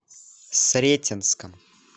сретенском